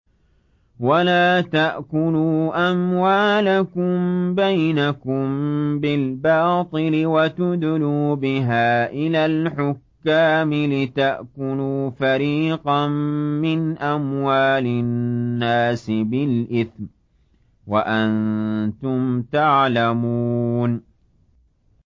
وَلَا تَأْكُلُوا أَمْوَالَكُم بَيْنَكُم بِالْبَاطِلِ وَتُدْلُوا بِهَا إِلَى الْحُكَّامِ لِتَأْكُلُوا فَرِيقًا مِّنْ أَمْوَالِ النَّاسِ بِالْإِثْمِ وَأَنتُمْ تَعْلَمُونَ